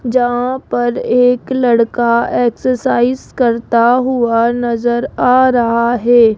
जहां पर एक लड़का एक्सरसाइज करता हुआ नजर आ रहा है।